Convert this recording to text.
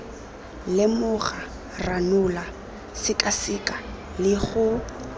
lemoga ranola sekaseka le go